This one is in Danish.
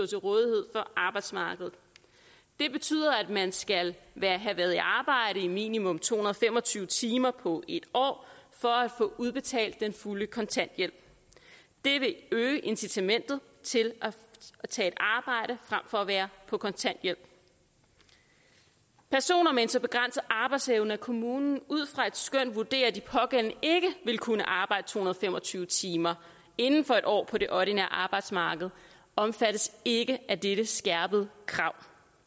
til rådighed for arbejdsmarkedet det betyder at man skal have været i arbejde i minimum to hundrede og fem og tyve timer på et år for at få udbetalt den fulde kontanthjælp det vil øge incitamentet til at tage et arbejde frem for at være på kontanthjælp personer med en så begrænset arbejdsevne at kommunen ud fra et skøn vurderer at de pågældende ikke vil kunne arbejde to hundrede og fem og tyve timer inden for et år på det ordinære arbejdsmarked omfattes ikke af dette skærpede krav